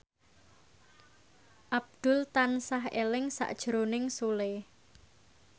Abdul tansah eling sakjroning Sule